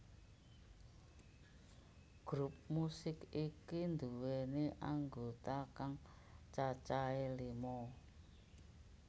Grup musik iki nduwèni anggota kang cacahé lima